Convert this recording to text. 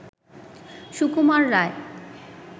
Sukumar Ray